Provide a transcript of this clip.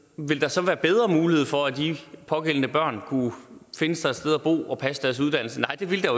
vil der så være bedre mulighed for at de pågældende børn kunne finde sig et sted og bo og passe deres uddannelse nej det ville der